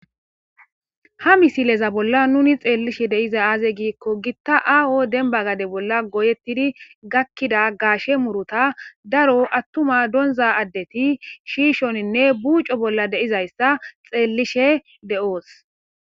ha misileza bolla nuni xeellishe deiza aaze giikko gitta aa7o denba gade bolla goyettidi gakkida gaashe muruta daro attuma donza addeti shiishoninne buuco bolla deizayssa xeellishe de7oos